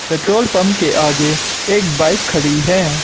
Petrol pump के आगे एक बाइक खड़ी है।